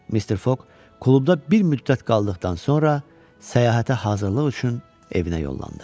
Mr. Foq klubda bir müddət qaldıqdan sonra səyahətə hazırlıq üçün evinə yollandı.